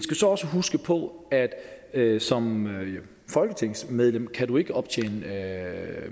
så også huske på at som folketingsmedlem kan du ikke optjene